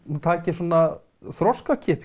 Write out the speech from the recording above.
hún taki svona